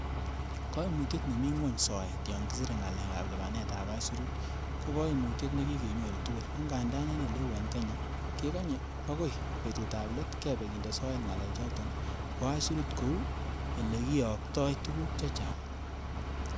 Koimutye ne mi ngwony soet yon kisire ngalek ab lipanetab aisurut ko koimutye nekikenyoru tugul, angandan en eleu en Kenya kekonye bokoi betutab let kebe kinde soet ngalechoton bo aisurut kou ele kiyoktoi tuguk chechang.